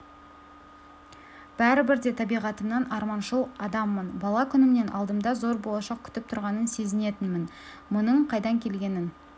бәрібір де табиғатымнан арманшыл адаммын бала күнімнен алдымда зор болашақ күтіп тұрғанын сезінетінмін мұның қайдан келгенін